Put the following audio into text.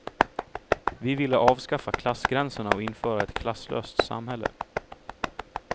Vi ville avskaffa klassgränserna och införa ett klasslöst samhälle.